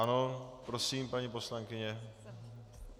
Ano, prosím, paní poslankyně.